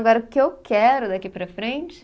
Agora, o que eu quero daqui para frente